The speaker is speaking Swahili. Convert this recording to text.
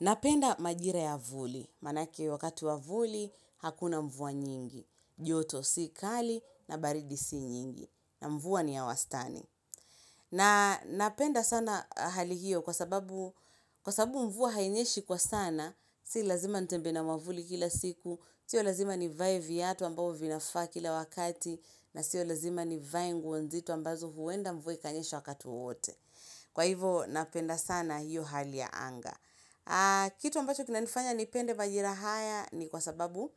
Napenda majira ya vuli Maanake wakati wa vuli hakuna mvua nyingi joto si kali na baridi si nyingi na mvua ni ya wastani na napenda sana hali hiyo kwa sababu mvua hainyeshi kwa sana Si lazima nitembee na mwavuli kila siku Sio lazima nivae viatu ambao vinafaa kila wakati. Na sio lazima nivae nguo nzito ambazo huenda mvua ikanyesha wakati wowote Kwa hivo napenda sana hiyo hali ya anga kitu ambacho kinanifanya nipende majira haya ni kwa sababu